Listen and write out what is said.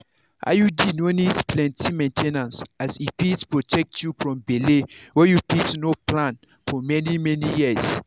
iud no need plenty main ten ance as e fit protect you from belle wey you no plan for for many years.